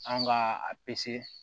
An ka a